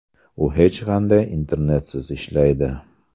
U hech qanday internetsiz ishlaydi.